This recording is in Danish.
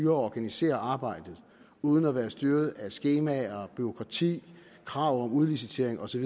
organisere arbejdet uden at være styret af skemaer og bureaukrati krav om udlicitering osv